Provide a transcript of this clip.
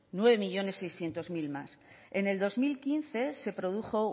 nueve millónes seiscientos mil más en el dos mil quince se produjo